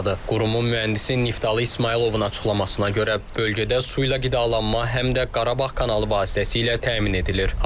Qurumun mühəndisi Niftalı İsmayılovun açıqlamasına görə, bölgədə su ilə qidalanma həm də Qarabağ kanalı vasitəsilə təmin edilir.